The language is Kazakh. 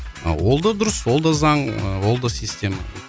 ол да дұрыс ол да заң ыыы ол да система